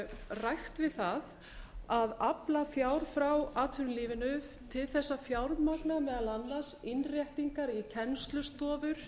rækt við að afla fjár frá atvinnulífinu til þess að fjármagna meðal annars innréttingar í kennslustofur